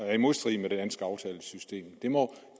er i modstrid med det danske aftalesystem